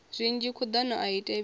zwinzhi khuḓano a i thivhelei